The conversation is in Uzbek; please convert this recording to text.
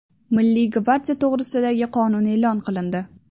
Milliy gvardiya to‘g‘risidagi qonun e’lon qilindi.